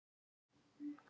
Hvað kemur þeim þetta við?